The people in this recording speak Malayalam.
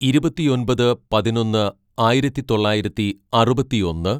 "ഇരുപത്തിയൊമ്പത് പതിനൊന്ന് ആയിരത്തിതൊള്ളായിരത്തി അറുപത്തിയൊന്ന്‌